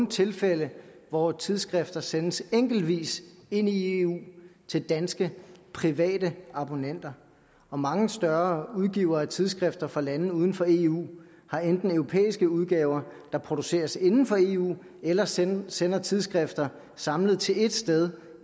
tilfælde hvor tidsskrifter sendes enkeltvis ind i eu til danske private abonnenter mange større udgivere af tidsskrifter fra lande uden for eu har enten europæiske udgaver der produceres inden for eu eller sender sender tidsskrifter samlet til ét sted